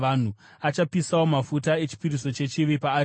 Achapisawo mafuta echipiriso chechivi paaritari.